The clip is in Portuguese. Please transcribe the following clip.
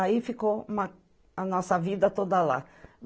Aí ficou uma, a nossa vida toda lá.